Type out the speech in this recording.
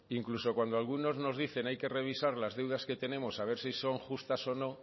incluso cuando algunos nos dicen hay que revisar las deudas que tenemos a ver si son justas o no